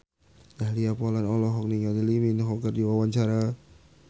Dahlia Poland olohok ningali Lee Min Ho keur diwawancara